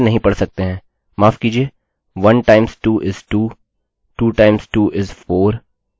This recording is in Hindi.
2 times 2 is 4 इसी तरह से पूरा 10 times 2 is 20 तक